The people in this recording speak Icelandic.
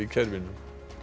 kerfinu